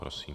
Prosím.